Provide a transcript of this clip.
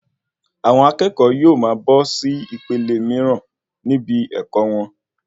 Àwọn akẹ́kọ̀ọ́ yóò máa bọ́ sí ìpele míràn níbí ẹkọ wọn